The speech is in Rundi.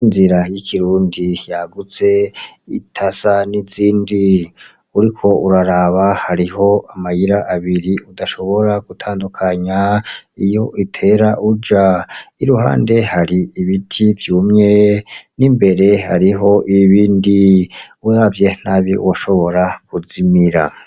Inzira y'ikirundi yagutse idasa n'izindi ,uriko uraraba hariho amayira abiri udashobora gutandukanya iyo utera uja. Iruhande hari ibiti vyumye n'imbere hariho ibindi uravye nabi woshobora kuzimira.